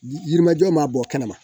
Yirimajɔ ma bɔ kɛnɛma